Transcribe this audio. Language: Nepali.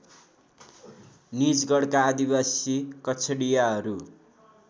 निजगढका आदिवासी कछडियाहरू